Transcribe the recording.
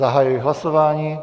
Zahajuji hlasování.